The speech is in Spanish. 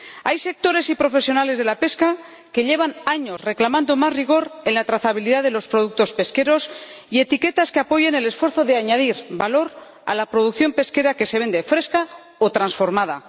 Hay sectores y profesionales de la pesca que llevan años reclamando más rigor en la trazabilidad de los productos pesqueros y etiquetas que apoyen el esfuerzo de añadir valor a la producción pesquera que se vende fresca o transformada